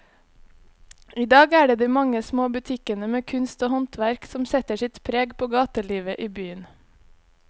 I dag er det de mange små butikkene med kunst og håndverk som setter sitt preg på gatelivet i byen.